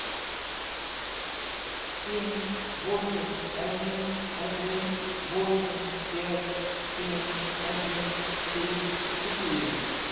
семь восемь один один восемь пять семь один три четыре